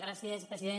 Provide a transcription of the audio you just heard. gràcies president